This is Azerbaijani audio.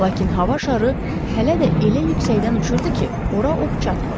Lakin hava şarı hələ də elə yüksəkdən uçurdu ki, ora ox çatmırdı.